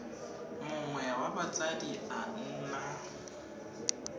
mongwe wa batsadi a nna